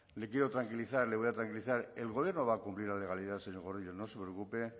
le quiero tranquilizar le voy a tranquilizar el gobierno va a cumplir la legalidad señor gordillo no se preocupe